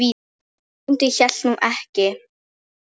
Bóndi hélt nú ekki.